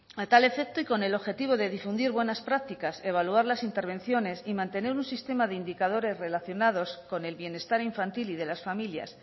a tal efecto y con el objetivo de difundir buenas prácticas evaluar las intervenciones y mantener un sistema de indicadores relacionados con el bienestar infantil y de las familias